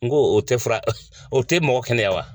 N ko o tɛ fura o tɛ mɔgɔ kɛnɛya wa